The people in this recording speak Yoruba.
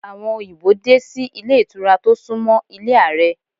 Àwọn òyìnbó dé sí ilé ìtura tó sún mọ́ ilé Ààrẹ.